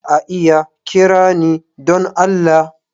Za a iya kira ni don Allah?